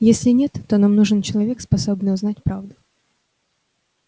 если нет то нам нужен человек способный узнать правду